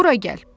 Bura gəl.